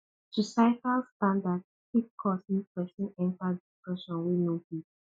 societal standard fit cause mek pesin enta depression wey no gud